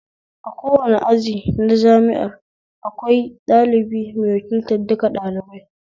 A kowane aji na jami'a akwai ɗalibi mai wakiltar duka ɗalibai